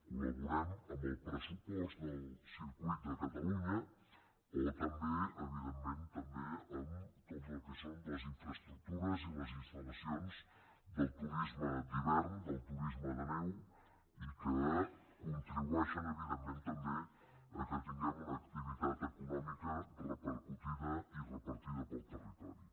colcatalunya o també evidentment en tot el que són les infraestructures i les instal·lacions del turisme d’hivern del turisme de neu i que contribueixen evidentment també que tinguem una activitat econòmica repercutida i repartida pel territori